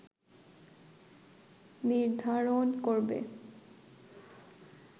নির্ধারণ করবে